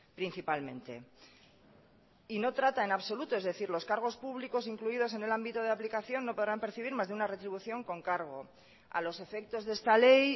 principalmente y no trata en absoluto es decir los cargos públicos incluidos en el ámbito de aplicación no podrán percibir más de una retribución con cargo a los efectos de esta ley